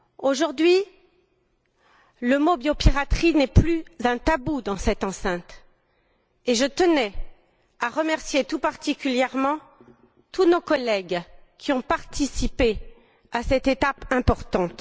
Aujourd'hui, le mot biopiraterie n'est plus un tabou dans cette enceinte, et je tenais à remercier tout particulièrement tous nos collègues qui ont participé à cette étape importante.